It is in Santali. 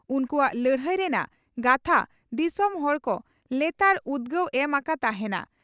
ᱩᱱᱠᱩᱣᱟᱜ ᱞᱟᱹᱲᱦᱟᱹᱭ ᱨᱮᱱᱟᱜ ᱜᱟᱛᱷᱟ ᱫᱤᱥᱚᱢ ᱦᱚᱲ ᱠᱚ ᱞᱮᱛᱟᱲ ᱩᱫᱽᱜᱟᱣ ᱮᱢ ᱟᱠᱟ ᱛᱟᱦᱮᱸᱱᱟ ᱾"